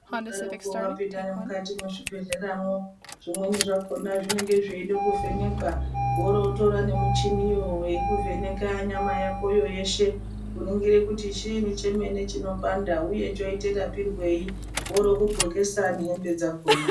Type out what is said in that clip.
Unodaroko vapinda nemukati mwezvibhedhleramwo zvimweni zvakona zvinenge zveida kuvhenekwa, oro votora nemichiniyo vekuvheneka nyama yakoyo yeshe. Kuningire kuti chiini chemene chinopanda, uye choita rapirwei oro vokudhlokesa nehembe dzakona.